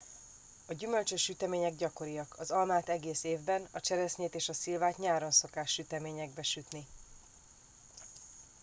a gyümölcsös sütemények gyakoriak az almát egész évben a cseresznyét és a szilvát nyáron szokás süteményekbe sütni